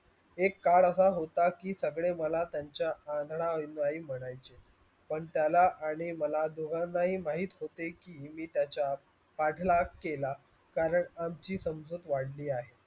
एक काळ आशा होता की सगडे मला त्यांचा अंधडा अनुयाई म्हणयाचे. पण त्याला आणि मला दोगान्हा महित होते की मी त्याचा पटलाक केला करण आमची समजूत वडली आहे.